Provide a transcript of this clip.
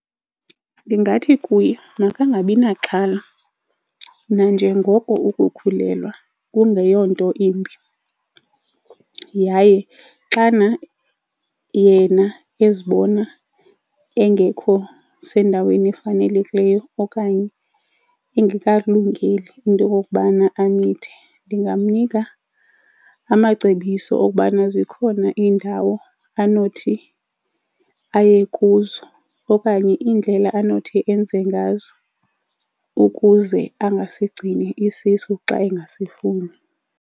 Ndingathi kuye makangabi naxhala nanjengoko ukukhulelwa kungeyonto imbi, yaye xana yena ezibona engekho sendaweni efanelekileyo okanye engekakulungeli into yokokubana amithe ndingamnika amacebiso okubana zikhona iindawo anothi aye kuzo okanye iindlela anothi enze ngazo ukuze angasigcini isisu xa engasifuni.